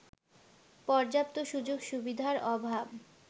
পর্যাপ্ত সুযোগ-সুবিধার অভাব